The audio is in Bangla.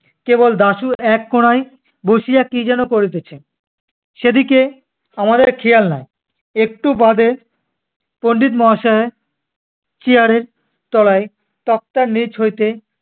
কেবল দাশু এক কোণায় বসিয়া কি যেনো করিতেছে। সেদিকে আমাদের খেয়াল নাই। একটু বাদে পণ্ডিত মহাশয়ের chair এর তলায় তক্তার নিচ হইতে